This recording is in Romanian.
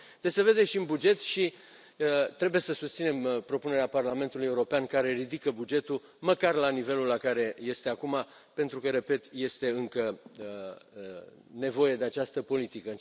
Deci, se vede și în buget și trebuie să susținem propunerea Parlamentului European care ridică bugetul măcar la nivelul la care este acum, pentru că, repet, este încă nevoie de această politică.